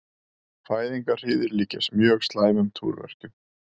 Fæðingarhríðir líkjast mjög slæmum túrverkjum.